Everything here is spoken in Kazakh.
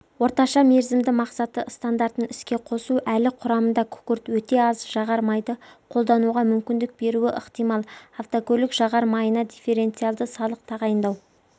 орташа мерзімді мақсаты стандартын іске қосу әлі құрамында күкірт өте аз жағар майды қолдануға мүмкіндік беруі ықтимал автокөлік жағар майына дифференциалды салық тағайындау